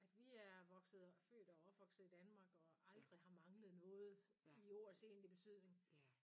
At vi er vokset født og opvokset i Danmark og aldrig har manglet noget i ordets egentlige betydning